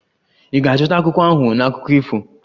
Ị ga-azụta akwụkwọ ahụ na akụkọ ifo?